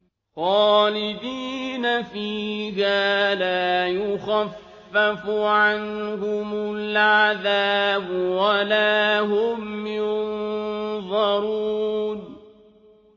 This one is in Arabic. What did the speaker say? خَالِدِينَ فِيهَا ۖ لَا يُخَفَّفُ عَنْهُمُ الْعَذَابُ وَلَا هُمْ يُنظَرُونَ